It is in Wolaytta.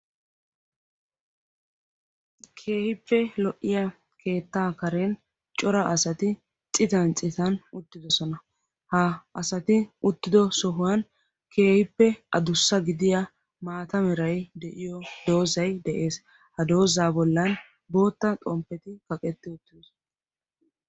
Keehippe lo"iyaa keettaa karen cima asati citan citan uttidosona. ha asati uttido sohuwaan keehippe adussa gdiyaa maata meray diyoo doozzay de'ees. ha doozzaa bollan bootta xompetti kaqetti uttidosona.